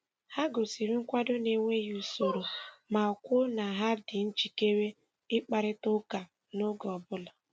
Ha gosiri nkwado n’enweghị usoro ma kwuo na ha dị njikere ịkparịta ụka n’oge ọ bụla.